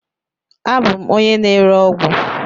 Abụ m onye na-ere ọgwụ..